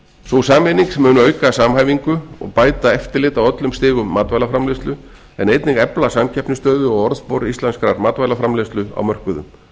sú sameining mun auka samhæfingu og bæta eftirlit á öllum stigum matvælaframleiðslu en einnig efla samkeppnisstöðu og orðspor íslenskrar matvælaframleiðslu á mörkuðum